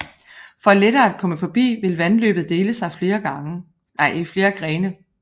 For lettere at komme forbi vil vandløbet dele sig i flere grene